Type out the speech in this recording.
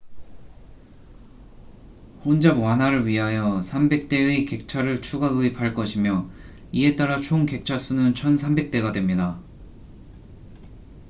혼잡 완화를 위하여 300대의 객차를 추가 도입할 것이며 이에 따라 총 객차 수는 1,300대가 됩니다